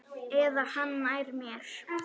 Eða hann nær mér.